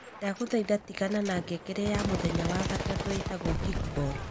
Ndagũthaitha tigana na ngengere ya mũthenya wa gatatũ ĩĩtagwo Kickball